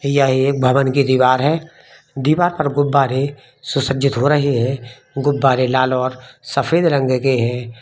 यह एक भवन की दीवार है दीवार पर गुब्बारे सुसज्जित हो रहे हैं गुब्बारे लाल और सफेद रंग के हैं।